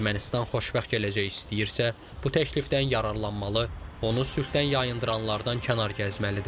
Ermənistan xoşbəxt gələcək istəyirsə, bu təklifdən yararlanmalı, onu sülhdən yayındıranlardan kənar gəzməlidir.